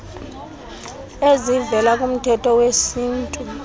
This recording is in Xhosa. ezivela kumthetho wesintu